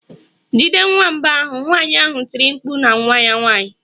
Jide nwamba ahụ!nwanyị ahụ tiri mkpu na nwa ya nwanyị.